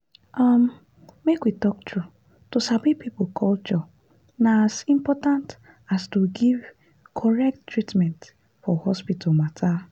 umm make we talk true to sabi people culture na as important as to give correct treatment for hospital matter.